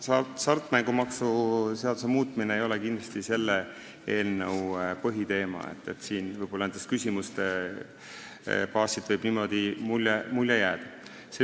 Hasartmängumaksu seaduse muutmine ei ole kindlasti selle eelnõu põhiteema – siin võib küsimuste baasilt selline mulje jääda.